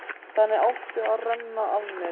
Þannig átti að renna af mér.